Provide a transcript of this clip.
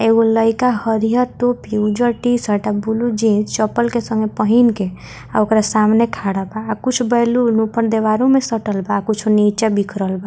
एगो लइका हरियर टोपी उज्जर टी-शर्ट आ बुल्लू जीन्स चप्पल के संगे पहिन के आ ओकरा सामने खड़ा बा आ कुछ बैलून ऊपर दीवारों में सटल बा अ कुछ नीचे बिखरल बा।